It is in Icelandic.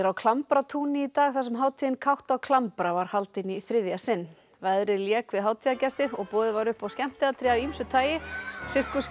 Klambratúni í dag þar sem hátíðin kátt á klambra var haldin í þriðja sinn veðrið lék við hátíðargesti og boðið var upp á skemmtiatriði af ýmsu tagi